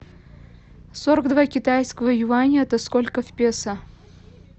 сорок два китайского юаня это сколько в песо